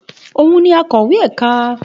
Òun ni akọ̀wé ẹ̀ka.